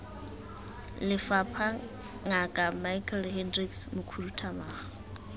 lefapha ngaka michael hendricks mokhuduthamaga